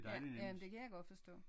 Ja jamen det kan godt forstå